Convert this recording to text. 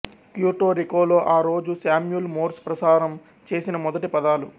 Puerto రికోలో ఆ రోజు శామ్యూల్ మోర్స్ ప్రసారం చేసిన మొదటి పదాలు